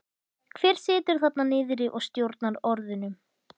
Hver situr þarna niðri og stjórnar orðunum?